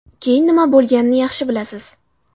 Keyin nima bo‘lganini yaxshi bilasiz.